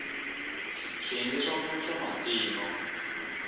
swiyenge swa mune swa matino